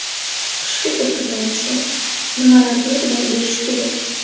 Qishki kurtka tanlashda nimalarga e’tibor berish kerak?.